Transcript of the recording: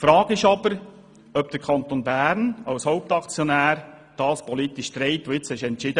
Es bleibt jedoch die Frage, ob der Kanton Bern als Hauptaktionär den Entscheid, um den es heute geht, politisch trägt.